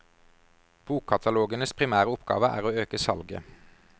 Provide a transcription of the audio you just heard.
Bokkatalogenes primære oppgave er å øke salget.